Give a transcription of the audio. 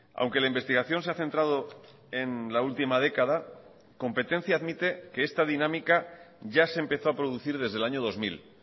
aunque la investigación se ha centrado en la última década competencia admite que esta dinámica ya se empezó a producir desde el año dos mil